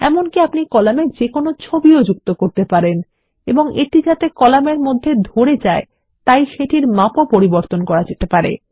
এমনকি আপনি কলামে যেকোনো ছবি যুক্ত করতে পারেন এবং এটি যাতে কলামের মধ্যে ধরে যায় তাই সেটির মাপও পরিবর্তন করতে পারেন